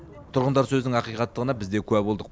тұрғындар сөзінің ақиқаттығына біз де куә болдық